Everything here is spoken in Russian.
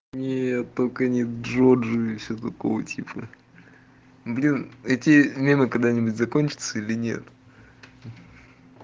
не только не джорджи и всё такого типа блин эти мемы когда-нибудь закончатся или нет